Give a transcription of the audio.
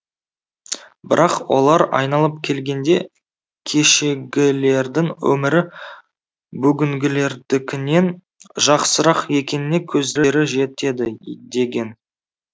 бірақ олар айналып келгенде кешегілердің өмірі бүгінгілердікінен жақсырақ екеніне көздері жетеді деген